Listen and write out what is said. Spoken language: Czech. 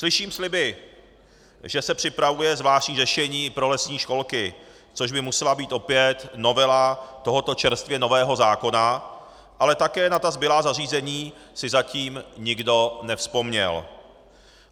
Slyším sliby, že se připravuje zvláštní řešení pro lesní školky, což by musela být opět novela tohoto čerstvě nového zákona, ale také na ta zbylá zařízení si zatím nikdo nevzpomněl.